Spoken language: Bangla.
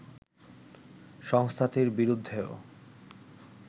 সংস্থাটির বিরুদ্ধেও